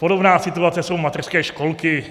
Podobná situace jsou mateřské školky.